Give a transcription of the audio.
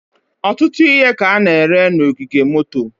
ọtụtụ ihe ka a na-ere n'ogige moto.